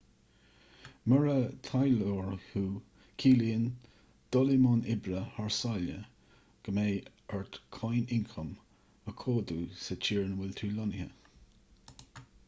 mura taidhleoir thú ciallaíonn dul i mbun oibre thar sáile go mbeidh ort cáin ioncaim a chomhdú sa tír ina bhfuil tú lonnaithe